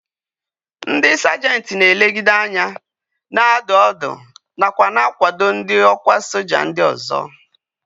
Ndị sajenti na-elegideanya, na-adụ ọdụ nakwa na-akwado ndị ọkwá soja ndị ọzọ